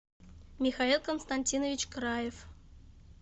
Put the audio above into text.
михаил константинович краев